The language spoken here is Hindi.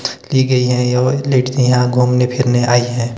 दी गई हैं और यहां घूमने फिरने आयी हैं।